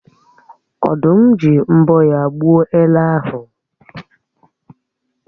Ọ̀dụ́m ji mbọ́ ya gbuo ele ahụ